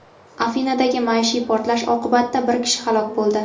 Afinadagi maishiy portlash oqibatida bir kishi halok bo‘ldi.